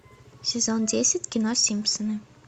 сезон десять кино симпсоны